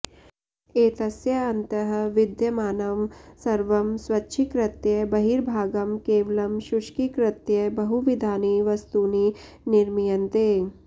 एतस्य अन्तः विद्यमानं सर्वं स्वच्छीकृत्य बहिर्भागं केवलं शुष्कीकृत्य बहुविधानि वस्तूनि निर्मीयन्ते